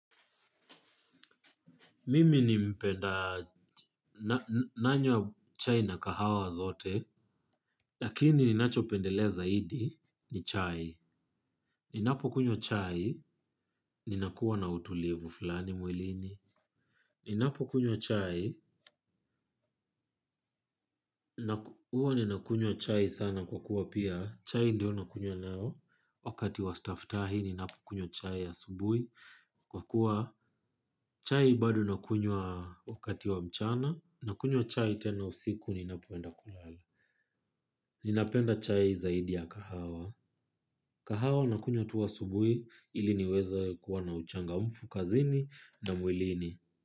Mimi ni mpenda nanywa chai na kahawa zote, lakini ninacho pendelea zaidi ni chai. Ninapo kunywa chai, ninakuwa na utulivu fulani mwilini. Ninapo kunyo chai, huwa ninakunywa chai sana kwa kuwa pia, chai ndio nakunywa nayo. Wakati wa staftahi ninapokunywa chai asubuhi. Kwa kuwa chai bado nakunywa wakati wa mchana, nakunywa chai tena usiku ninapoenda kulala. Ninapenda chai zaidi ya kahawa. Kahawa nakunywa tu asubuhi ili niweze kuwa na uchangamfu kazini na mwilini.